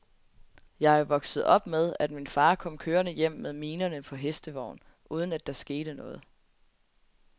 Jeg er jo vokset op med, at min far kom kørende hjem med minerne på hestevogn, uden at der skete noget.